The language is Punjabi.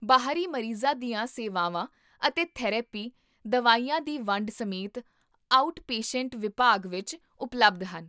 ਬਾਹਰੀ ਮਰੀਜ਼ਾਂ ਦੀਆਂ ਸੇਵਾਵਾਂ ਅਤੇ ਥੈਰੇਪੀ, ਦਵਾਈਆਂ ਦੀ ਵੰਡ ਸਮੇਤ, ਆਊਟਪੇਸ਼ੈਂਟ ਵਿਭਾਗ ਵਿੱਚ ਉਪਲਬਧ ਹਨ